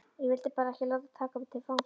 Ég vildi bara ekki láta taka mig til fanga